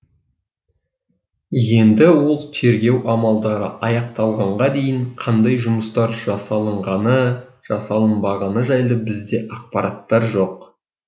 енді ол тергеу амлдары аяқталғанға дейін қандай жұмыстар жасалынғаны жасалынбағыны жайлы бізде ақпараттар жоқ